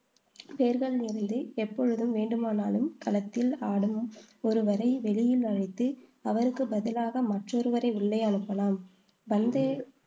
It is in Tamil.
பேர்களில் இருந்து எப்பொழுது வேண்டுமானாலும் களத்தில் ஆடும் ஒருவரை வெளியில் அழைத்து, அவருக்கு பதிலாக மற்றொருவரை உள்ளே அனுப்பலாம். பந்தை